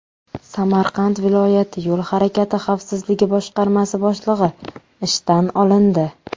Samarqand viloyati Yo‘l harakati xavfsizligi boshqarmasi boshlig‘i ishdan olindi.